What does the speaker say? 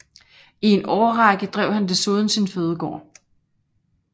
I en årrække drev han desuden sin fødegård